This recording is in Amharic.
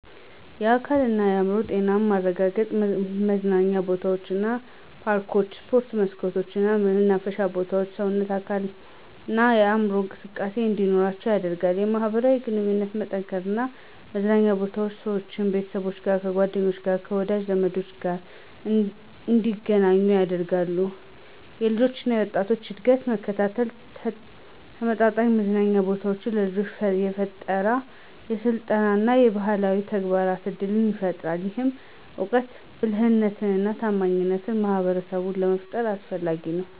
1. የአካልና የአዕምሮ ጤናማ ማረጋገጥ መዝናኛ ቦታዎች እንደ ፓርኮች፣ የስፖርት መስኮች እና የመናፈሻ ቦታዎች ሰዎችን በአካላዊ እና በአምሮአዊ እንቅስቃሴ እንዲኖራቸው ያደርጋል 2. የማህበራዊ ግንኙነት መጠናከር መዝናኛ ቦታዎች ሰዎችን፣ ከቤተሰቦቻቸው፣ ከጓደኞቻቸው፣ ከወዳጅ ዘመዶቻቸው ጋር እንደገናኙ ያደርጋሉ 3. የልጆች እና ወጣቶች እድገት መከታተል ተመጣጣኝ መዝናኛ ቦታዎች ለልጆች የፈጠራ፣ የስልጠና እና የባህላዊ ተግባር እድል ይፈጥራል። ይህም እውቀት፣ ብልህነትና ታማኝ ማህበረሰብን ለመፍጠር አስፈላጊው